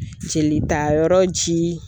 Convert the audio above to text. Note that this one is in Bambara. Jelita yɔrɔ ji.